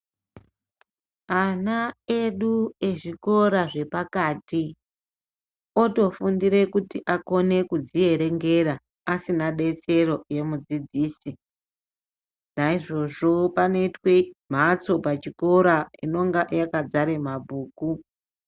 Ana edu ezvikora zvepakati otofundire kuti akone kudzierengera asina betsero yemudzidzisi. Naizvozvo panoitwe mhatso pachikora inonga yakadzara mabhuku.